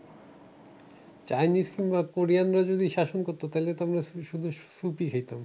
Chinese কিংবা কোরিয়ানরা শাসন করতো তাহলে তো আমরা শুধু soup ই খেতাম।